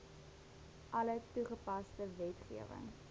alle toepaslike wetgewing